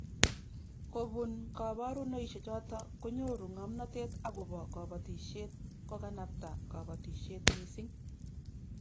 Kobun koborunoisiechoto konyoru ngomnatet agobo kobotisiet kokanabta kobotisiet missing